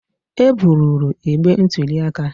E bupụrụ igbe ntụli aka